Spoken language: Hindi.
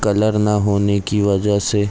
कलर ना होने की वजह से --